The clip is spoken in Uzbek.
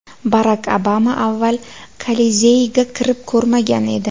Barak Obama avval Kolizeyga kirib ko‘rmagan edi.